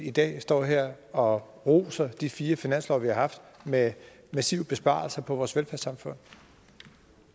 i dag står her og roser de fire finanslove vi har haft med massive besparelser på vores velfærdssamfund